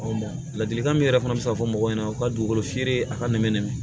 ladilikan min yɛrɛ fana bɛ se ka fɔ mɔgɔw ɲɛna u ka dugukolo feere a ka nɛmɛ nɛmɛ